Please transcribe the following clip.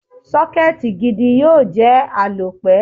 Sọ́kẹ́tì gidi yóò jẹ́ àlòpẹ́.